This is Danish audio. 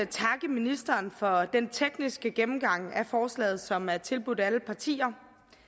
ministeren for den tekniske gennemgang af forslaget som er tilbudt alle partier